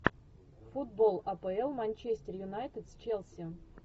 футбол апл манчестер юнайтед с челси